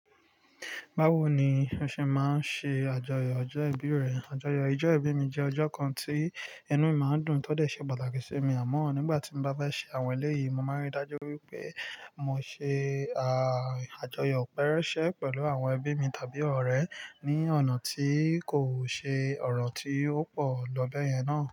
Bawo ni o ṣe máa ń ṣe àjọyọ̀ ọjọ́ ìbí rẹ? Àjọyọ̀ ìjọ ìbí mi jẹ́ ọjọ́ kan tí inú mi máa ń dùn tódẹ̀ ṣe pàtàkì sí mi àmọ́ nígbà tí mo bá bá ṣe àwọn eléyìí, mo máa ń rí dájú wípé mo ṣe a-àjọyọ̀ pẹ́rẹ́ṣẹ́ pẹ̀lú àwọn ẹbí mi tàbí ọ̀rẹ́ ní ọ̀nà tí kò ṣe ọ̀ràn tí ó pọ̀ lọ bẹ́ẹ̀ yẹn náà.